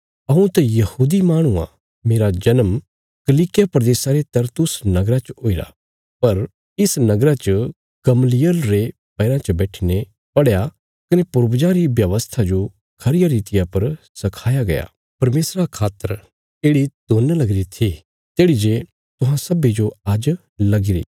हऊँ त यहूदी माहणु आ मेरा जन्म किलिकिया प्रदेशा रे तरसुस नगरा च हुईरा पर इस नगरा च गमलीएल रे पैराँ च बैठीने पढ़या कने पूर्वजां री व्यवस्था जो खरिया रितिया पर सखाया गया कने परमेशरा खातर येढ़ि लगाईरी थी तेढ़ी जे तुहां सब्बीं जो आज्ज लगी री